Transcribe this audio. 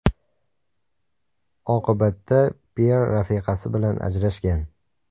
Oqibatda Pyer rafiqasi bilan ajrashgan.